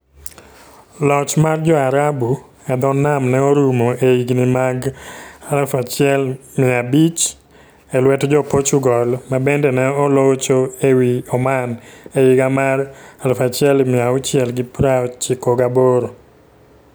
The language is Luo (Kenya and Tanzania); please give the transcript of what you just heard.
Loch mar Jo-Arabu e dho nam ne orumo e higini mag 1500 e lwet Jo-Portugal, ma bende ne olocho e wi Oman e higa 1698.